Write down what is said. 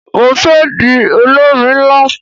Mo fé di olórin nlá